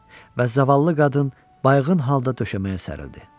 Və zavallı qadın bayığın halda döşəməyə sərildi.